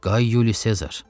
Qay Yuli Sezar.